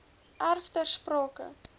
erf ter sprake